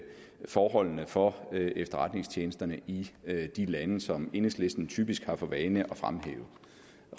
forholdene for efterretningstjenesterne i de lande som enhedslisten typisk har for vane at fremhæve